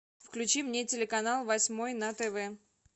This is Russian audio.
включи мне телеканал восьмой на тв